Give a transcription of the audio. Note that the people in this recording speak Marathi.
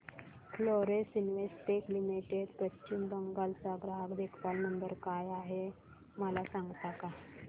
Florence Investec limited Paschim Bangal चा ग्राहक देखभाल नंबर काय आहे मला सांगता का